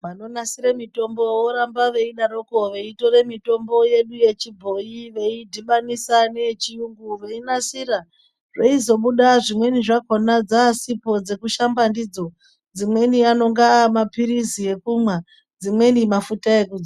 Vanonasire mitombo voramba veidaroko veitore mitombo yedu yechibhoi veidhibanisa neyechiyungu veinasira. Zveizobuda zvimweni zvakona dzasipo dzekushamba ndidzo amweni anonga amaphirizi ekumwa dzimweni mafuta ekudzora.